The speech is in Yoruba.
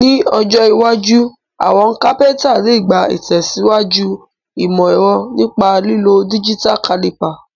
Ní ojó iwájú, àwon carpenter le gbà ìtẹ̀síwájú ìmò ẹ̀ro nípa lílo digital caliper